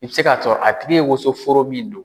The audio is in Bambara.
I bɛ se ka sɔrɔ a tigi ye wosonforo min don.